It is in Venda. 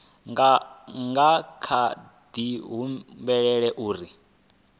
nga kha di humbela uri